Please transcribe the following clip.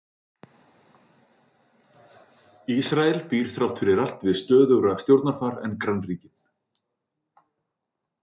Ísrael býr þrátt fyrir allt við stöðugra stjórnarfar en grannríkin.